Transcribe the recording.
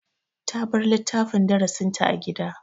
Ta bar littafin darasinta a gida.